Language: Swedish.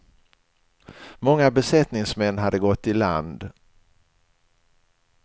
Många besättningsmän hade gått i land.